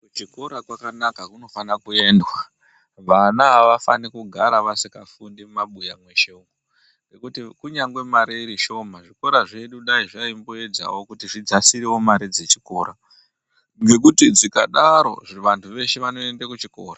Kuchikora kwakanaka kunofana kuendwa. Vana avafani kugara vasingafundi mumabuya mweshe umwo. Ngekuti kunyangwe mari iri Shoma, zvikora zvedu kudai zvaimboedzawo kudzasira wo mare dzezvikora. Ngekuti dzikadaro vantu veshe vanoenda kuchikora.